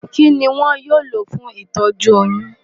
Kí ni wọn yóò lò fún ìtọ́jú oyún?